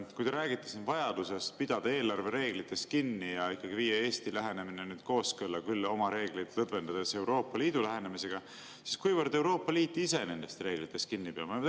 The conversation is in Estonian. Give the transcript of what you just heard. Kui te räägite siin vajadusest pidada eelarvereeglitest kinni ja viia Eesti lähenemine kooskõlla – küll oma reegleid lõdvendades – Euroopa Liidu lähenemisega, siis kuivõrd Euroopa Liit ise nendest reeglitest kinni peab?